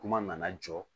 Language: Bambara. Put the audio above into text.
Kuma nana jɔ